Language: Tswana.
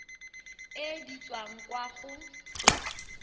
e di tswang kwa go